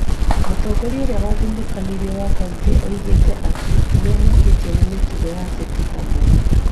Mũtongoria ũrĩa wathĩnĩkĩtwo wa kauntĩ oigire atĩ, nĩ amakirio nĩ mĩtugo ya ateti amwe,